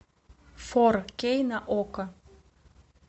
фор кей на окко